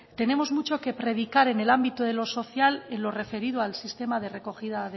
tenemos mucho que predicar en el ámbito de lo social en lo referido al sistema de recogida